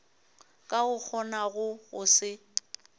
ka o kgonago go se